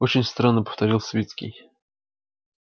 очень странно повторил свицкий